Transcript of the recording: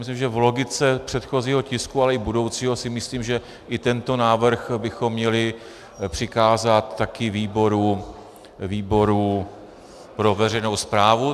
Myslím si, že v logice předchozího tisku, ale i budoucího si myslím, že i tento návrh bychom měli přikázat také výboru pro veřejnou správu.